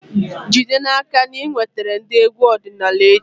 Jide n'aka na ị wetara ndị egwu ọdịnala echi!